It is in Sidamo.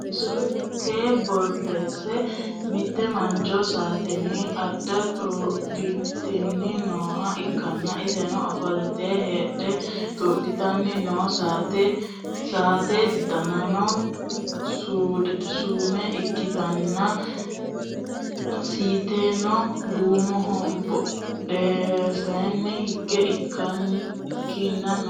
tee basera mitte mancho saatenni addo xuudhitanni nooha ikkanna, iseno ofolte heedhe xuudhitanni no, saate danino duume ikkitanna, siitiseno duumoho, badhensaanni higge kinna no.